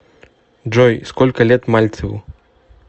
джой сколько лет мальцеву